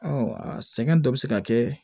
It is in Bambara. a sɛgɛn dɔ bɛ se ka kɛ